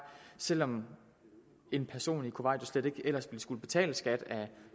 selv om en person i kuwait jo slet ikke ellers ville skulle betale skat af